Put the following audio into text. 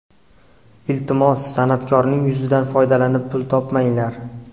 Iltimos, san’atkorning yuzidan foydalanib pul topmanglar.